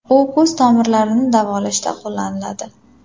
U ko‘z tomirlarini davolashda qo‘llaniladi.